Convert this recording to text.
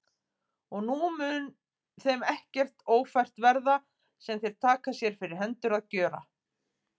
Og nú mun þeim ekkert ófært verða, sem þeir taka sér fyrir hendur að gjöra.